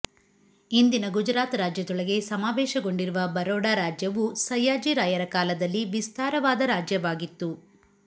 ಇಂದಿನ ಗುಜರಾತ್ ರಾಜ್ಯದೊಳಗೆ ಸಮಾವೇಶಗೊಂಡಿರುವ ಬರೋಡಾ ರಾಜ್ಯವು ಸಯ್ಯಾಜಿರಾಯರ ಕಾಲದಲ್ಲಿ ವಿಸ್ತಾರವಾದ ರಾಜ್ಯವಾಗಿತ್ತು